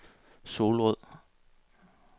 Solrød